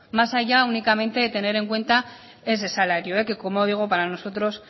más allá únicamente de tener en cuenta ese salario que como digo para nosotros